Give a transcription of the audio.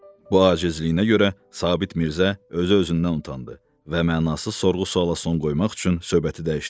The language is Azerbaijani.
Bu acizliyinə görə Sabit Mirzə özü-özündən utandı və mənasız sorğu-sualla son qoymaq üçün söhbəti dəyişdi.